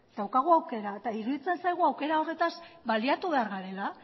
daukagu aukera eta iruditzen zaigu aukera horretaz baliatu behar garela